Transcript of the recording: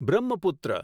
Brahmaputra